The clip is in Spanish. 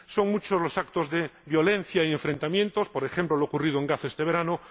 son muchos los actos de violencia y enfrentamientos, por ejemplo, lo ocurrido en Gaza este verano